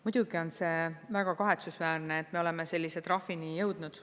Muidugi on see väga kahetsusväärne, et me oleme sellise trahvini jõudnud.